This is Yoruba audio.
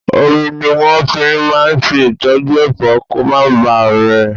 Omi ni wọn fi máa ń ṣe ìtọ́jú Ẹ̀fọ́ kó má ba rẹ̀.